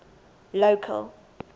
local